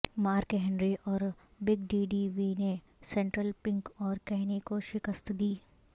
mark Henry اور Big Daddy V نے سینٹرل پنک اور کینی کو شکست دی